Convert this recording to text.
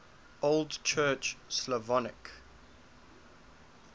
old church slavonic